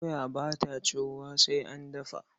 Doya ba ta ciwuwa sai an dafa.